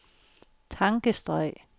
tankestreg